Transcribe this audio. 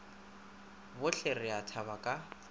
bohle re a thaba ka